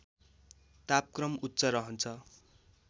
तापक्रम उच्च रहन्छ